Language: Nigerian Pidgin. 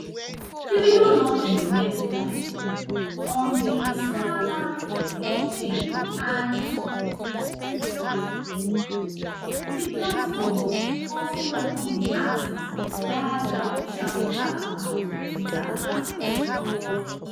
davido launch im meme coin on di solana blockchain and di platform also welcome di artiste via dia official twitter account twitter account